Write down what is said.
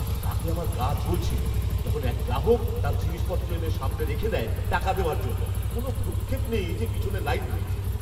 রাগে আমার গা জ্বলছিল যখন এক গ্রাহক তাঁর জিনিসপত্র এনে সামনে রেখে দেয় টাকা দেওয়ার জন্য, কোনও ভ্রূক্ষেপ নেই যে পিছনে লাইন রয়েছে!